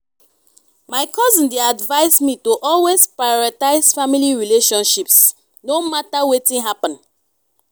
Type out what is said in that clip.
my cousin dey advise me to always prioritize family relationships no matter wetin happen.